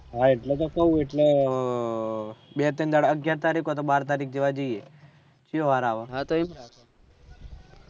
હા એટલે તો કહું એટલે બે તય્ન દહાડા અગ્યાર તરીક હોય તો બાર તરીક જેવા જયીયે જયો વાર આવે